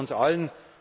Gratulation uns